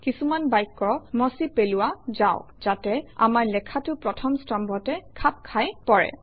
কিছুমান বাক্য মচি পেলোৱা যাওক যাতে আমাৰ লেখাটো প্ৰথম স্তম্ভতে খাপ খাই পৰে